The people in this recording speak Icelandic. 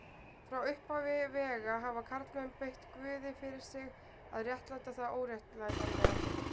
Frá upphafi vega hafa karlmenn beitt guði fyrir sig til að réttlæta það óréttlætanlega.